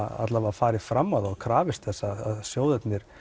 farið fram á og krafist þess að sjóðirnir